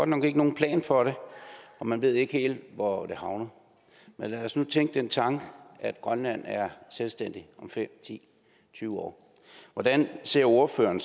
nok ikke nogen plan for det og man ved ikke helt hvor det havner men lad os nu tænke den tanke at grønland er selvstændigt om fem ti tyve år hvordan ser ordføreren